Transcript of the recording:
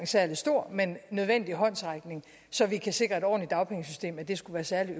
særlig stor men en nødvendig håndsrækning så vi kan sikre et ordentligt dagpengesystem skulle være særlig